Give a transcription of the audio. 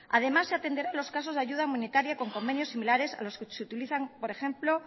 además se atenderá los casos de ayuda humanitaria con convenios similares a los que se utilizan por ejemplo